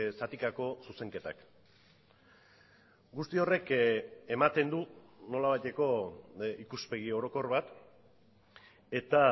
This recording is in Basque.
zatikako zuzenketak guzti horrek ematen du nolabaiteko ikuspegi orokor bat eta